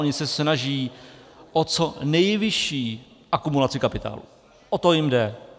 Oni se snaží o co nejvyšší akumulaci kapitálu, o to jim jde.